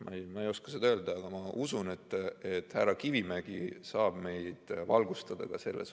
Ma ei oska seda öelda, aga ma usun, et härra Kivimägi saab meid valgustada ka selles.